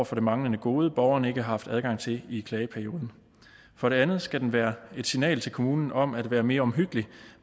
for det manglende gode borgeren ikke har haft adgang til i klageperioden for det andet skal den være et signal til kommunen om at være mere omhyggelig